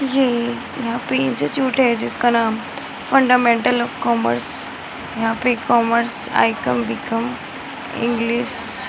ये यहाँ पे इंस्टिट्यूट है जिसका नाम फंडामेंटल ऑफ़ कॉमर्स यहाँ पे कॉमर्स आई.कॉम. बी.कॉम. इंग्लिश --